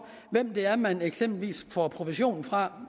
hvem det er man eksempelvis får provision fra